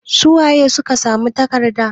Su waye suka samu tarakta?